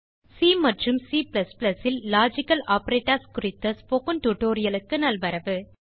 C மற்றும் C logical operators குறித்த spoken tutorialக்கு நல்வரவு